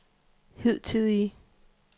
hidtidige